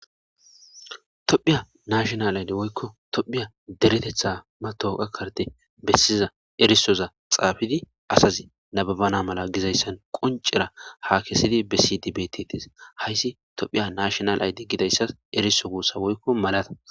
Tophphiya national ID woyko tophphiya dereteththa metaweqiya carde besiza erisooza xafidi asazi nababana mala gidayssan qoncera hakissidi bessidi bettetes. Hayssi tophphiya national ID gidayssan eriso wossa woyko malata